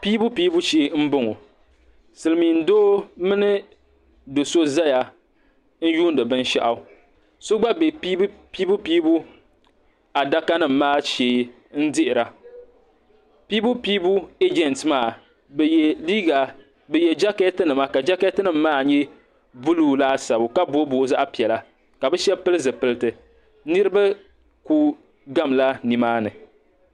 Piibu piibu shee n bɔŋo silmiin doo mini doo so zaya n yuuni binshaɣu so gba bɛ piibu piibu adaka nim maa shee n dihira piibu piibu agent maa bi yɛ jakɛti nima ka jakɛti nim maa nyɛ buluu laasabu ka booyi booyi zaɣa piɛla ka bi shɛba pili zipiliti niriba ku gam la ni maa ni.